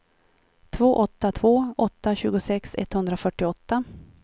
två åtta två åtta tjugosex etthundrafyrtioåtta